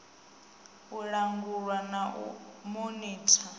u langulwa na u monitha